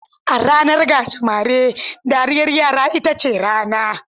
A ranar gajimare, dariyar yara ita ce rana.